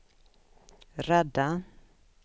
rädda